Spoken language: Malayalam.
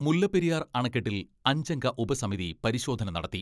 മുല്ലപ്പെരിയാർ അണക്കെട്ടിൽ അഞ്ചംഗ ഉപസമിതി പരിശോധന നടത്തി.